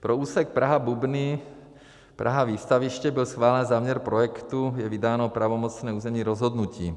Pro úsek Praha-Bubny, Praha-Výstaviště byl schválen záměr projektu, je vydáno pravomocné územní rozhodnutí.